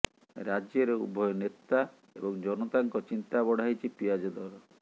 ରାଜ୍ୟରେ ଉଭୟ ନେତା ଏବଂ ଜନତାଙ୍କ ଚିନ୍ତା ବଢାଇଛି ପିଆଜ ଦର